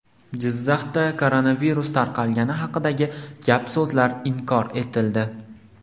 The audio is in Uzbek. Jizzaxda koronavirus tarqalgani haqidagi gap-so‘zlar inkor etildi.